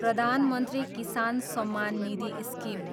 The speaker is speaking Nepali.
प्रधान मन्त्री किसान सम्मान निधि स्किम